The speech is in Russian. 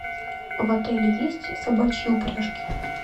в отеле есть собачьи упряжки